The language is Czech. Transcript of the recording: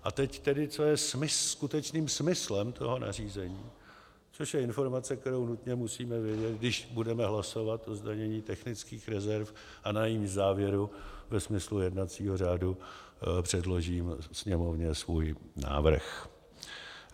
A teď tedy, co je skutečným smyslem toho nařízení, což je informace, kterou nutně musíme vědět, když budeme hlasovat o zdanění technických rezerv a na jejímž závěru ve smyslu jednacího řádu předložím Sněmovně svůj návrh.